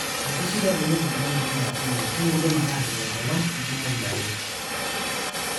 meeti shida teneitu ilotu enkolong e appointment, ekidim ake atipik enkolong nitumoki ayeu